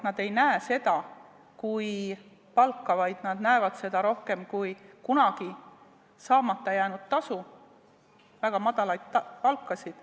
Nad ei näe seda kui palka, vaid nad näevad seda rohkem kui kunagi saamata jäänud tasu, tasu väga madala palga eest.